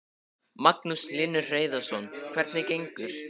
Magnús Hlynur Hreiðarsson: Hvernig gengur?